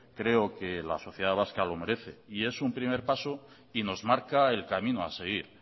creo que la sociedad vasca la merece es un primer paso y nos marca el camino a seguir